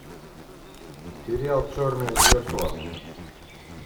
сериал черное зеркало